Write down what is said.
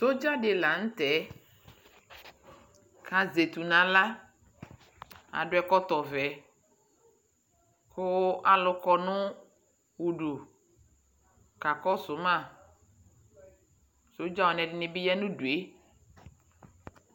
Sodza dι la nʋ tɛ kʋ azɛ etu nʋ aɣla, adʋ ɛkɔtɔvɛ mʋ alʋ kɔ nʋ udu kakɔsʋ ma Sodzawani ɛdι nι bι ya nʋ udu yɛ